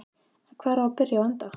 En hvar á að byrja og enda?